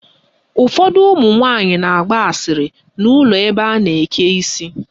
Ụfọdụ ụmụnwaanyị na-agba asịrị n' ụlọ ebe a na-eke isi.